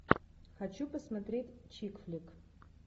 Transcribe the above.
хочу посмотреть чик флик